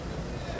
Dayan dayan!